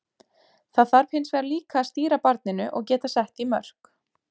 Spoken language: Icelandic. Það þarf hins vegar líka að stýra barninu og geta sett því mörk.